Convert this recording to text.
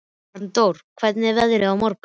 Arndór, hvernig er veðrið á morgun?